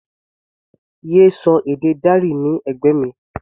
Yé sọ èdè Dari ní ẹ̀gbẹ́ mi!